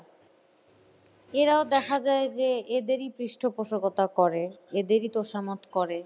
এরাও দেখা যায় যে এদেরই পৃষ্ঠপোষকতা করে, এদেরই তোষামোদ করে।